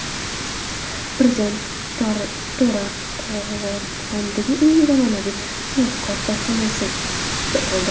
Prezident To‘raqo‘rg‘ondagi eng zamonaviy sanoat korxonasida bo‘ldi.